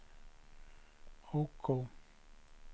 OK